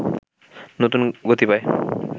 নতুন গতি পায়